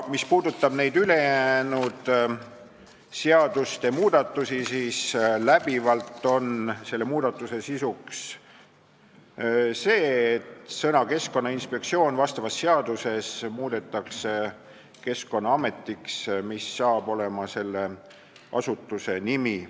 Mis puudutab ülejäänud seadusmuudatusi, siis läbivalt on muudatuste sisuks see, et sõna "Keskkonnainspektsioon" vastavas seaduses asendatakse sõnaga "Keskkonnaamet", millest saab selle asutuse nimi.